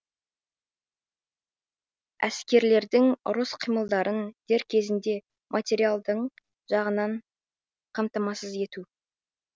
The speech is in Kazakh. әскерлердің ұрыс қимылдарын дер кезінде материалдың жағынан қамтамасыз ету